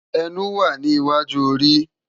Ènú wá ni iwájú óri